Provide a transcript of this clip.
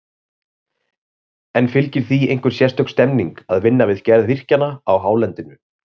En fylgir því einhver sérstök stemning að vinna við gerð virkjana á hálendinu?